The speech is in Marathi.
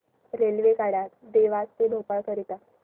रेल्वेगाड्या देवास ते भोपाळ करीता